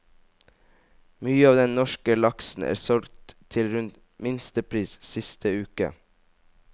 Mye av den norske laksen er solgt til rundt minstepris siste uke.